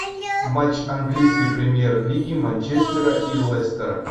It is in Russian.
матч английской премьер лиги манчестера и лестера